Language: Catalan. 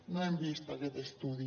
no hem vist aquest estudi